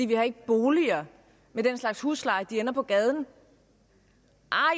vi har ikke boliger med den slags lave huslejer og de ender på gaden